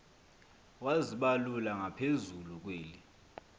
wazibalula ngaphezulu kweli